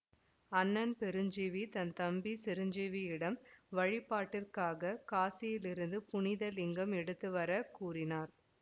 அண்ணன் பெருஞ்சீவி தன் தம்பி சிரஞ்சீவியிடம் வழிபாட்டிற்காக காசியிலிருந்து புனித லிங்கம் எடுத்து வர கூறினார்